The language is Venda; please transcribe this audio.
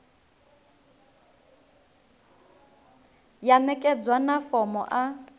ya ṋekedzwa na fomo a